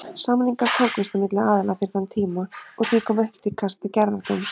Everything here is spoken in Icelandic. Samningar tókust á milli aðila fyrir þann tíma og því kom ekki til kasta gerðardóms.